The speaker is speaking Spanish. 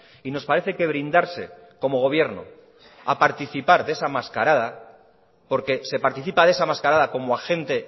y nos parece que brindarse como gobierno a participar de esa mascarada porque se participa de esa mascarada como agente